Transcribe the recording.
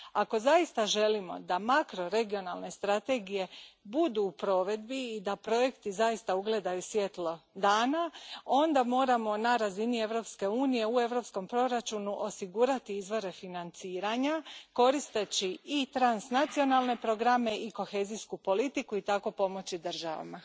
Ako zaista želimo da makroregionalne strategije budu u provedbi i da projekti zaista ugledaju svjetlo dana, onda moramo na razini Europske unije, u Europskom proračunu osigurati izvore financiranja koristeći i transnacionalne programe i kohezijsku politiku i tako pomoći državama.